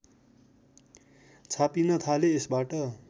छापिन थाले यसबाट